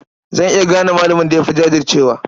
Zan iya gane malamin da ya fi jajircewa.